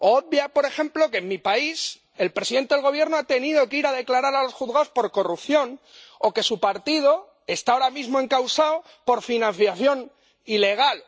Obvia, por ejemplo, que en mi país, el presidente del Gobierno ha tenido que ir a declarar a los juzgados por corrupción o que su partido está ahora mismo encausado por financiación ilegal.